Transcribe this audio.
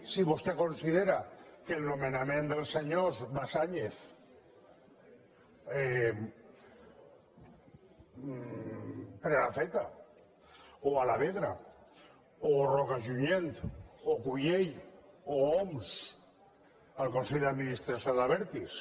si vostè considera que el nomenament dels senyors basáñez prenafeta o alavedra o roca junyent o cullell o homs al consell d’administració d’abertis